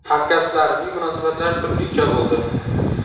Hamkasblarimning munosabatlari turlicha bo‘ldi.